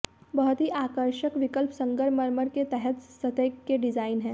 बहुत ही आकर्षक विकल्प संगमरमर के तहत सतह के डिजाइन है